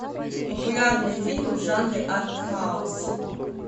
популярные фильмы в жанре арт хаус